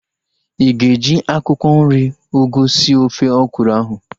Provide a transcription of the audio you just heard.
Ịga eji akwụkwọ nri ugu sie ofe ọkwụrụ ahu